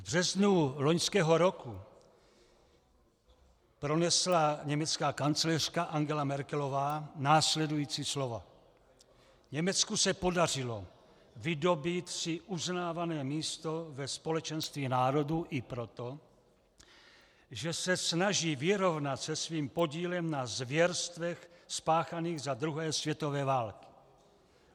V březnu loňského roku pronesla německá kancléřka Angela Merkelová následující slova: Německu se podařilo vydobýt si uznávané místo ve společenství národů i proto, že se snaží vyrovnat se svým podílem na zvěrstvech spáchaných za druhé světové války.